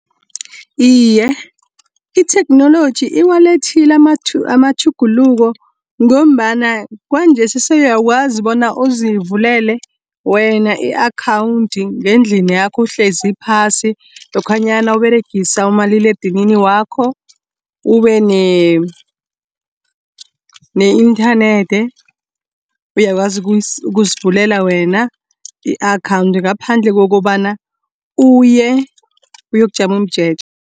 Iye, itheknoloji iwalethile amatjhuguluko, ngombana kwanjesi sewuyakwazi bona uzivulele wena i-akhawunthi ngendlini yakho uhlezi phasi, lokhanyana Uberegisa umaliledinini wakho. Ube ne-inthanethi uyakwazi ukuzivulele wena, i-akhawunti ngaphandle kokobana uye uyokujama umjeje.